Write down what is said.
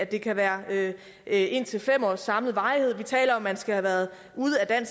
det kan være af indtil fem års samlet varighed vi taler om at man skal have været ude af